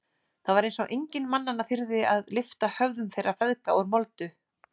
Það var eins og enginn mannanna þyrði að lyfta höfðum þeirra feðga úr moldu.